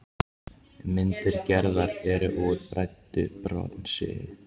Myndir Gerðar eru úr bræddu bronsi.